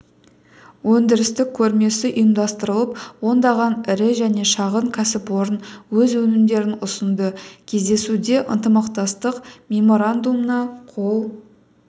өндірістік көрмесі ұйымдастырылып ондаған ірі және шағын кәсіпорын өз өнімдерін ұсынды кездесуде ынтымақтастық меморандумына қол